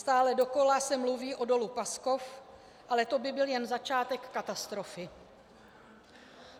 Stále dokola se mluví o Dolu Paskov, ale to by byl jen začátek katastrofy.